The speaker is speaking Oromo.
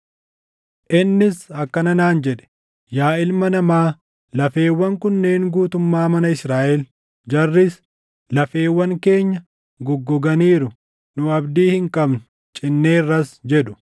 Innis akkana naan jedhe: “Yaa ilma namaa, lafeewwan kunneen guutummaa mana Israaʼeli. Jarris, ‘Lafeewwan keenya goggoganiiru; nu abdii hin qabnu; cinneerras’ jedhu.